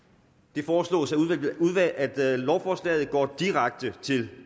det foreslås at lovforslaget går direkte til